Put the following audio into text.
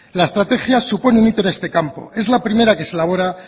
la estrategia supone un hito en este campo es la primera que se elabora